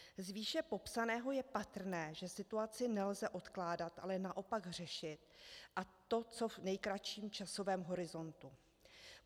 Z výše popsaného je patrné, že situaci nelze odkládat, ale naopak řešit, a to v co nejkratším časovém horizontu.